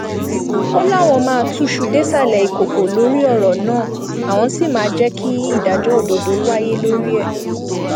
ó láwọn máa túṣu désàlẹ ìkọkọ lórí ọrọ náà àwọn sì máa jẹ kí ìdájọ òdodo wáyé lórí ẹ